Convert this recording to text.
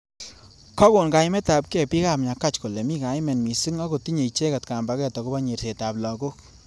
Kakon kaimet ab kei bik.ab nyakach kole mi kaimet missing ak kotinye icheket kambaget akobo nyerset ab lakok.